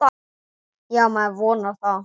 Já, maður vonar það.